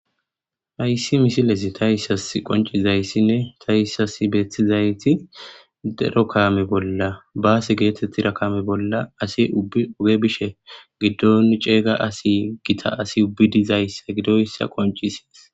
Hayssi misilesi ta issas qoncizayssinne ta issas beetizayti dero kame bolla baasi geetettira kaame bolla asi uge bishe giddon ceega asi gita asi ubbi dizayssa gidoyssa qoncisies.